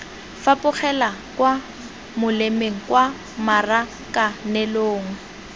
fapogela kwa molemeng kwa marakanelong